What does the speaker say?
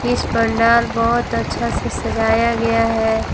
इस पंडाल बहोत अच्छा से सजाया गया है।